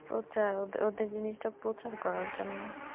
প্রচার ওদে~ওদের জিনিসটা প্রচার করার জন্য